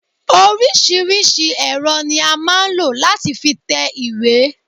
Oríṣiríṣi èrò ni a máa ń lọ láti fi tẹ ìwé.